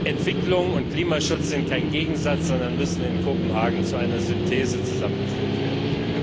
Entwicklung und Klimaschutz sind kein Gegensatz, sondern müssen in Kopenhagen zu einer Synthese zusammengeführt werden.